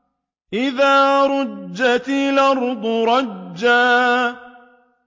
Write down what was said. إِذَا رُجَّتِ الْأَرْضُ رَجًّا